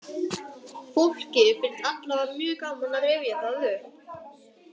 Fólki finnst allavega mjög gaman að rifja það upp.